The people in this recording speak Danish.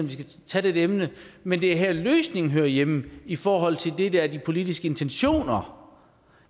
vi skal tage dette emne men det er her løsningen hører hjemme i forhold til det der er de politiske intentioner